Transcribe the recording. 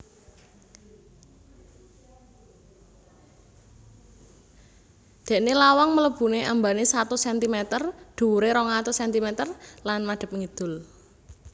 Déné lawang mlebuné ambané satus sentimeter dhuwuré rong atus sentimeter lan madhep ngidul